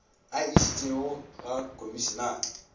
a e išitšego ga komišinare